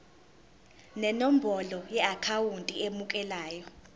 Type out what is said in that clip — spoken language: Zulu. nenombolo yeakhawunti emukelayo